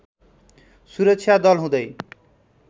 सुरक्षा दल हुँदै